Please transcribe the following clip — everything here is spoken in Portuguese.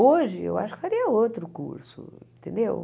Hoje, eu acho que faria outro curso, entendeu?